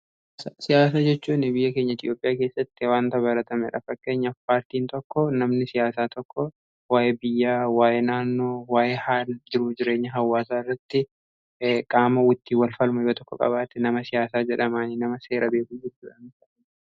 siyaasa jechuu nibiyya keenya etiyoophiyaa keessatti waanta baratame dhafak keenya paartiin tokko namni siyaasaa tokko waa'ee biyyaa waaye naannoo waa'ee haal jiru jireenya hawwaasaa irratti qaama wittii walfalmayo tokko qabaate nama siyaasaa jedhamaanii nama seera beebujitua